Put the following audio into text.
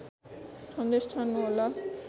सन्देश छाड्नुहोला